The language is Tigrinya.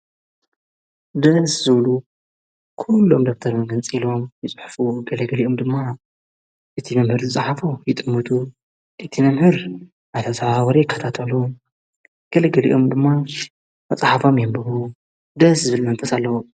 ድስ ዙብሉ ኲሎም ደብተር መገንፂኢሎም ይጽሕፉ ገለገሊኦም ድማ እቲ መምህር ዝፃሓፍ ይጥሙጡ እቲመምህር ኣተ ሠብ ወር ከታጠሉ ገለገሊኦም ድማ መፃሓባም የንብሩ ደስ ዝብል መንፈስ ኣለዉ::